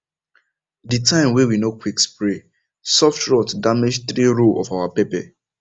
the time wey we no quick spray soft rot damage three row of our pepper